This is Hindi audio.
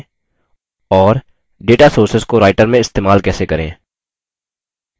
और data sources data sources को writer में इस्तेमाल कैसे करें